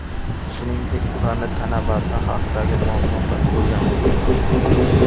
Shuningdek, ularning tana vazni haqidagi ma’lumotlar o‘rganilgan.